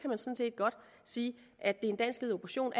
godt sige at det er en danskledet operation